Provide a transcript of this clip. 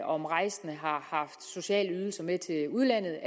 om rejsende har haft sociale ydelser med til udlandet